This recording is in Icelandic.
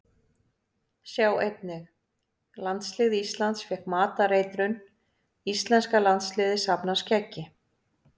Sjá einnig: Landslið Íslands fékk matareitrun Íslenska landsliðið safnar skeggi